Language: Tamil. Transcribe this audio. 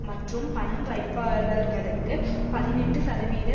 மற்றும் பணம் வைப்பாளர்களுக்கு பதினெட்டு சதவீத